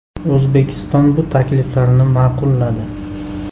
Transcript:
O‘zbekiston bu takliflarni ma’qulladi.